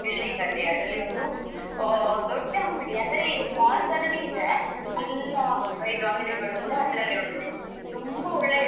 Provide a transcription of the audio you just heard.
Building ಅಲ್ಲಿ ಅದ್ರಲ್ಲಿ ಒಂದು ಓ ದೊಡ್ಡ ಅಂಗಡಿ ಅಂದ್ರೆ mall ತರಾನೇ ಇದೆ ಎಲ್ಲಾ ಇದು ಅಂಗಡಿಗಳು ಕೂಡ ಅದ್ರಲ್ಲೇ ಒಂದು ತುಂಬಾ ಒಳ್ಳೆ ಇದೆ.